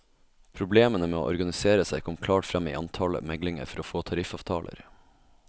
Problemene med å organisere seg kommer klart frem i antallet meglinger for å få tariffavtaler.